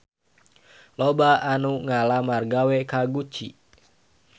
Loba anu ngalamar gawe ka Gucci